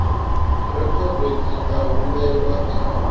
rekhodo dzi nga humbelwa kha